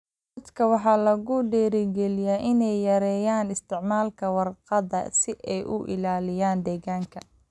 Dadka waxaa lagu dhiirigelinayaa inay yareeyaan isticmaalka warqadda si ay u ilaaliyaan deegaanka.